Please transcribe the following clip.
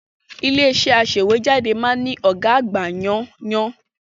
Ilé-iṣẹ́ aṣèwéjádé máa ń ní ọ̀gá àgbà yánńyán.